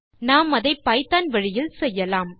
நாம் அதை பைத்தோன் வழியில் செய்யலாம்